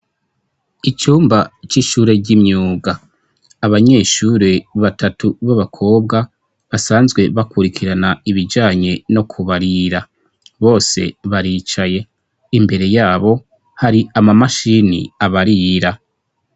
Icumba c'ishure ry'imyuga; abanyeshure batatu b'abakobwa basanzwe bakurikirana ibijanye no kubarira, bose baricaye; imbere yabo hari amamashini abarira.